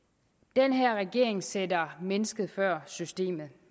den her regering sætter mennesket før systemet